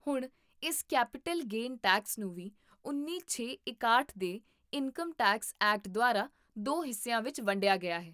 ਹੁਣ, ਇਸ capital gain tax ਨੂੰ ਵੀ ਉੱਨੀ ਛੇ ਇਕਾਹਟ ਦੇ ਇਨਕਮ ਟੈਕਸ ਐਕਟ ਦੁਆਰਾ ਦੋ ਹਿੱਸਿਆਂ ਵਿੱਚ ਵੰਡਿਆ ਗਿਆ ਹੈ